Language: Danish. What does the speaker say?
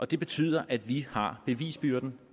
det betyder at vi har bevisbyrden